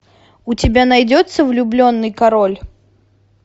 у тебя найдется влюбленный король